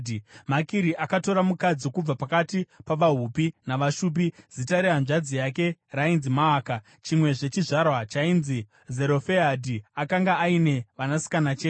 Makiri akatora mukadzi kubva pakati pavaHupi navaShupi. Zita rehanzvadzi yake rainzi Maaka. Chimwezve chizvarwa chainzi Zerofehadhi, akanga aine vanasikana chete.